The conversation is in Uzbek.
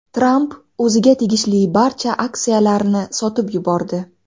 Tramp o‘ziga tegishli barcha aksiyalarni sotib yubordi.